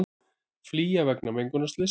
Flýja vegna mengunarslyss